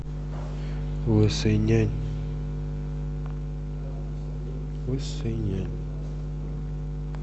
лысый нянь лысый нянь